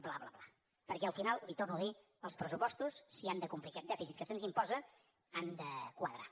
bla bla bla perquè al final li ho torno a dir els pressupostos si han de complir aquest dèficit que se’ns imposa han de quadrar